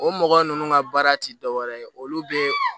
O mɔgɔ ninnu ka baara tɛ dɔ wɛrɛ ye olu bɛ